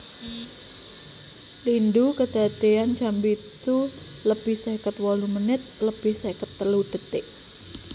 Lindhu kedadéyan jam pitu lebih seket wolu menit lebih seket telu detik